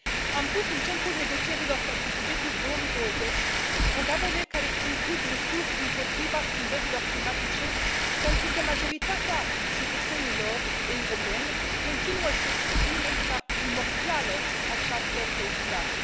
Am pus în centrul negocierilor pentru bugetul 2020 programele care includ măsuri împotriva schimbărilor climatice pentru că majoritatea cetățenilor europeni continuă să exprime ca primordială această preocupare.